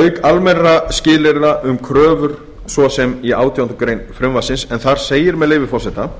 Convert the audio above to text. auk almennra skilyrða um kröfur svo sem í átjándu grein frumvarpsins en þar segir með leyfi forseta